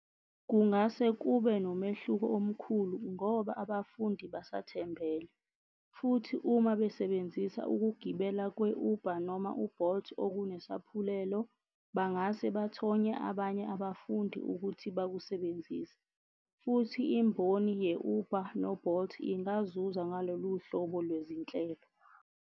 Kungase kube kunomehluko omkhulu ngoba abafundi basathembele. Futhi uma besebenzisa ukugibela kwe-Uber noma u-Bolt okunesaphulelo, bangase bathonye abanye abafundi ukuthi bakusebenzise. Futhi imboni ye-Uber no-Bolt ingazuza ngalolu hlobo lwezinhlelo.